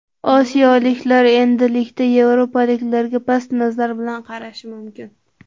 Osiyoliklar endilikda yevropaliklarga past nazar bilan qarashi mumkin”.